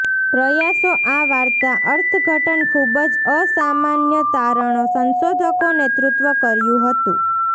પ્રયાસો આ વાર્તા અર્થઘટન ખૂબ જ અસામાન્ય તારણો સંશોધકો નેતૃત્વ કર્યું હતું